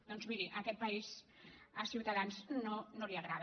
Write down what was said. doncs miri aquest país a ciutadans no li agrada